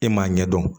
E m'a ɲɛdɔn